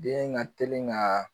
Den ka teli ka